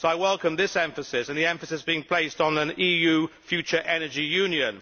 I welcome this emphasis and the emphasis being placed on an EU future energy union.